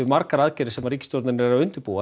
margar aðgerðir sem ríkisstjórnin er að undirbúa